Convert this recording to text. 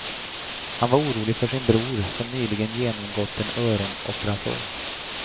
Han var orolig för sin bror, som nyligen genomgått en öronoperation.